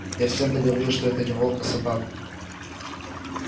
я всем да говорил что это не волк а собака